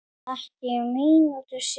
Ekki mínútu síðar